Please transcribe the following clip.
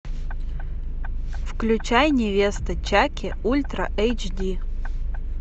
включай невеста чаки ультра эйч ди